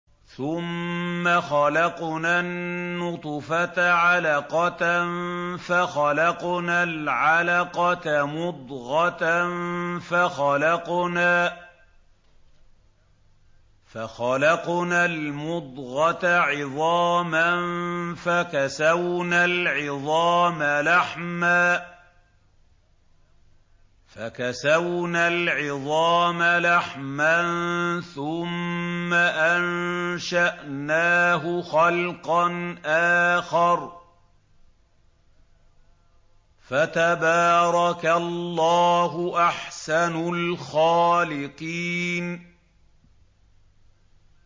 ثُمَّ خَلَقْنَا النُّطْفَةَ عَلَقَةً فَخَلَقْنَا الْعَلَقَةَ مُضْغَةً فَخَلَقْنَا الْمُضْغَةَ عِظَامًا فَكَسَوْنَا الْعِظَامَ لَحْمًا ثُمَّ أَنشَأْنَاهُ خَلْقًا آخَرَ ۚ فَتَبَارَكَ اللَّهُ أَحْسَنُ الْخَالِقِينَ